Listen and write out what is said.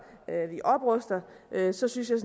vi opruster så synes jeg